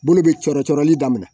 Bolo bɛ cɔrɔ cɔrɔli daminɛ